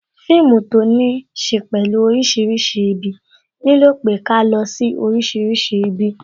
Fíìmù to ní ṣe pẹ̀lú orísìírísìí ibi, nílò pé ká lọ sí orísìírísìí ibi